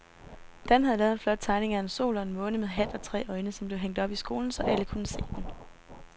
Dan havde lavet en flot tegning af en sol og en måne med hat og tre øjne, som blev hængt op i skolen, så alle kunne se den.